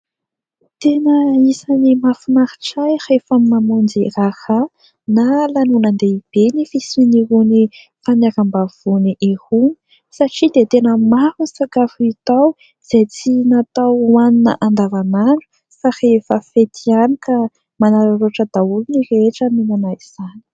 Tena isany mahafinaritra ahy rehefa mamonjy raharaha na lanonan-dehibe ny fisian'irony fanokafam-bavony irony satria dia tena maro ny sakafo hita ao izay tsy natao hoanina andavanandro fa rehefa fety ihany ka manararaotra daholo ny rehetra mihinana izany.